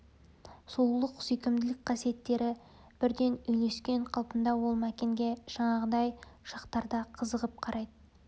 сұлулық сүйкімділік қасиеттері бірдей үйлескен қалпында ол мәкенге жаңағыдай шақтарда қызығып қарайды